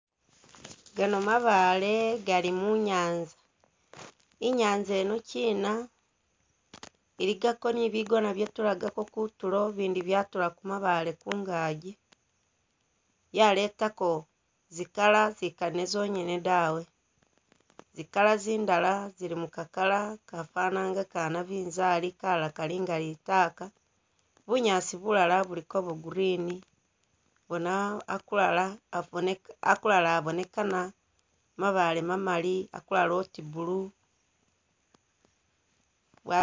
Gano mabaale gali mu nyaanza, inyaanza inokyina iligako ni bigona byetulagako kutulo bindi byatula ku mabaale kungagi yaletako zi colour zikali zonyene dawe zi colour zindala zili muka colour kafana inga ka nabinzali kalala kalinga litaka bunyaasi bulala buliko bwo green akulala abonekana mabaale mamali akulala uti blue.